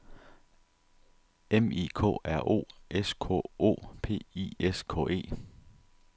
M I K R O S K O P I S K E